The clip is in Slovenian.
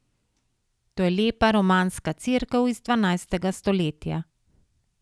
To je lepa romanska cerkev iz dvanajstega stoletja.